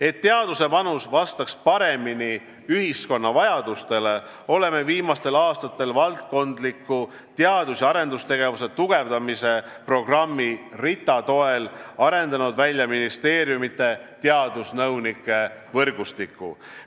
Et teaduse panus vastaks paremini ühiskonna vajadustele, oleme viimastel aastatel valdkondliku teadus- ja arendustegevuse tugevdamise programmi RITA toel arendanud välja ministeeriumide teadusnõunike võrgustiku.